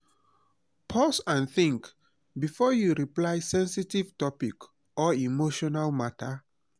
pause and think before you reply sensitive topic or emotional matter